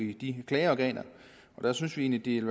i de klageorganer og der synes vi egentlig